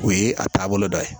O ye a taabolo dɔ ye